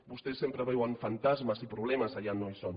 vostès sempre veuen fantasmes i problemes allà on no hi són